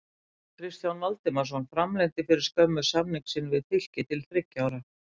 Kristján Valdimarsson framlengdi fyrir skömmu samningi sínum við Fylki til þriggja ára.